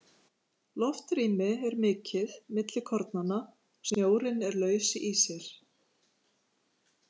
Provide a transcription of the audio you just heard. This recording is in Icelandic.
Loftrými er mikið milli kornanna, snjórinn er laus í sér.